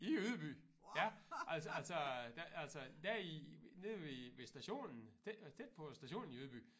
I Ydby ja altså altså altså der i nede ved ved stationen tæt på stationen i Ydby